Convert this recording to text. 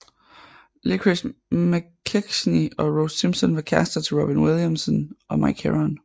Licorice McKechnie og Rose Simpson var kærrester til Robin Williamson og Mike Heron